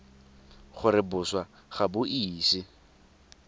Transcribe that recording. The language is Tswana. gore boswa ga bo ise